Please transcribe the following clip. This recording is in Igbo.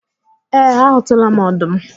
Ee, a hụtụla m ọdụm